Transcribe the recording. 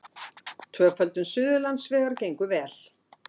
Tvöföldun Suðurlandsvegar gengur vel